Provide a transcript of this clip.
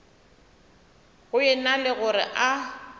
go ena le gore a